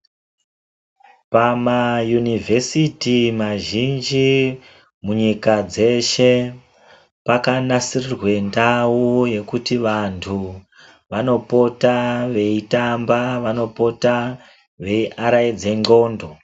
Pama yunivhesiti mazhinji munyika dzeshe paka nasirirwe ndau yekuti vantu vano pota vei tamba vano pota vei araidza ndxondo.